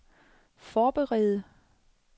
forberede